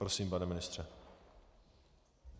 Prosím, pane ministře.